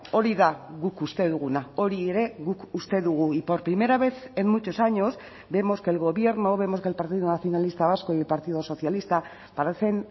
hori da guk uste duguna hori ere guk uste dugu y por primera vez en muchos años vemos que el gobierno vemos que el partido nacionalista vasco y el partido socialista parecen